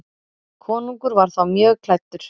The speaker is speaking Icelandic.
Konungur var þá mjög klæddur.